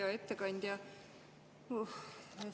Hea ettekandja!